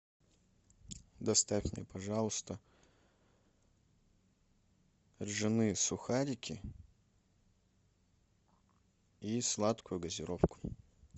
доставь мне пожалуйста ржаные сухарики и сладкую газировку